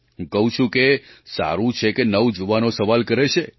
હું કહું છું કે સારું છે કે નવજુવાનો સવાલ કરે છે